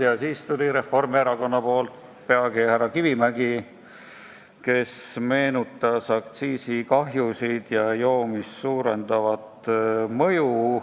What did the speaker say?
Ja siis tuli Reformierakonna esindajana rääkima härra Kivimägi, kes meenutas aktsiiside põhjustatud kahju ja joomist suurendavat mõju.